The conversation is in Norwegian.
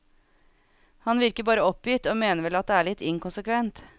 Han virker bare oppgitt og mener vel at det er litt inkonsekvent.